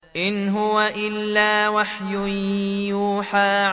إِنْ هُوَ إِلَّا وَحْيٌ يُوحَىٰ